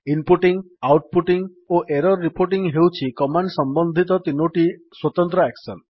inputting outputting ଓ error reporting ହେଉଛି command ସମ୍ବନ୍ଧିତ ତିନୋଟି ସ୍ୱତନ୍ତ୍ର ଆକ୍ସନ୍